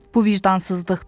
Bu vicdansızlıqdır.